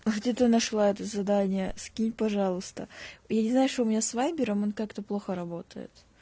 где ты нашла это задание скинь пожалуйста я не знаю что у меня с вайбером он как-то плохо работает